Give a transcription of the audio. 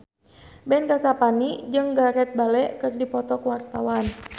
Ben Kasyafani jeung Gareth Bale keur dipoto ku wartawan